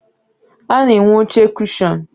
A na-enwe oche kushọn.